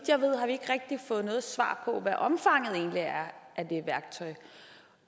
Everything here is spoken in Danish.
ikke rigtig fået noget svar på hvad omfanget egentlig er